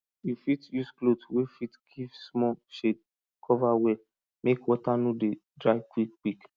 you fit use cloth wey fit give small shade cover well make water no dey dry quick quick